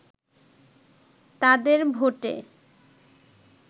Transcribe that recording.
তাদের ভোটে